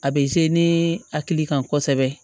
A bɛ ne hakili kan kosɛbɛ